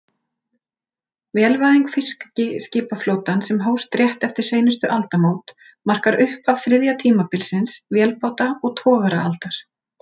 Vélvæðing fiskiskipaflotans, sem hófst rétt eftir seinustu aldamót, markar upphaf þriðja tímabilsins, vélbáta- og togaraaldar.